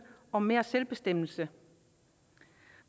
om mere selvbestemmelse